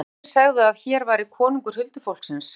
Sumir segðu að hér væri konungur huldufólksins.